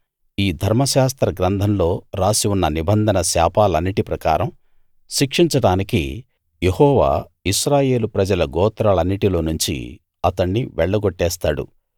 ఈ ధర్మశాస్త్ర గ్రంథంలో రాసి ఉన్న నిబంధన శాపాలన్నిటి ప్రకారం శిక్షించడానికి యెహోవా ఇశ్రాయేలు ప్రజల గోత్రాలన్నిటిలో నుంచి అతణ్ణి వెళ్ళ గొట్టేస్తాడు